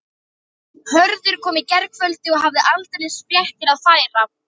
Hörður kom í gærkvöldi og hafði aldeilis fréttir að færa.